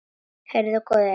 Heyrðu góði!